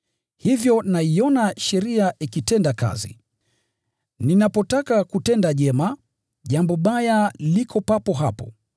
Hivyo naiona sheria ikitenda kazi. Ninapotaka kutenda jema, jambo baya liko papo hapo.